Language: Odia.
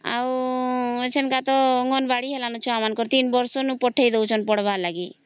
ଆଉ ଏଥରକ ତ ଅଙ୍ଗନବାଡି ହେଲା ନ ଛୁଆ ମାନଙ୍କର ତିନ ବର୍ଷ ରୁ ପଠେଇ ଡଉଛନ୍ତି ପଢ଼ବା ଲାଗି